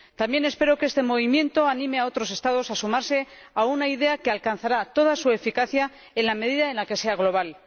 También espero que este movimiento anime a otros Estados a sumarse a una idea que alcanzará toda su eficacia en la medida en la que sea global.